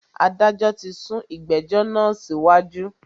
Adájọ tí sún ìgbẹ̀jọ́ náà síwájú.